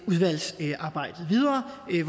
det